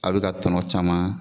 A be ka tɔnɔ caman.